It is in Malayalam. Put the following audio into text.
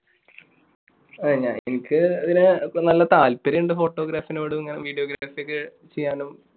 എനിക്ക് അതിന് നല്ല താല്പര്യമുണ്ട് photography യോടും എങ്ങനെ video graphy ഒക്കെ ചെയ്യാനും